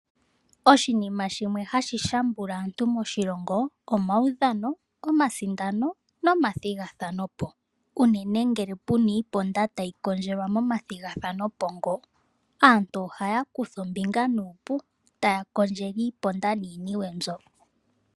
Oshinima shimwe hashi shambula aantu moshilongo